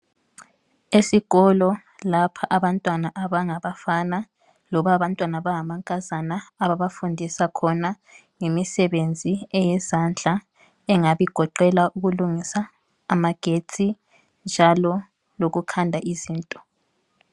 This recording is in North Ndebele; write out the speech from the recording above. Esikolo lapha abantwana abangabafana loba abantwana abangamankazana ababafundisa khona ngemisebenzi eyezandla engabigoqela ukulungisa amagetsi njalo lokukhanda izinto.